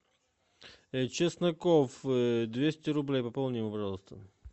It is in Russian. чесноков двести рублей пополни ему пожалуйста